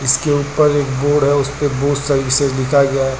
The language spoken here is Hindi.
इसके उपर एक बोर्ड है उस पे बहुत सारी लिखा गया है।